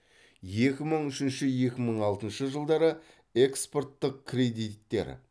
екі мың үшінші екі мың алтыншы жылдары экспорттық кредиттер